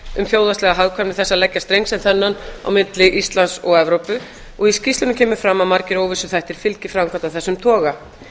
um þjóðhagslega hagkvæmni þess að leggja streng sem þennan á milli íslands og evrópu og í skýrslunni kemur fram að margir óvissuþættir fylgi framkvæmd af þessum toga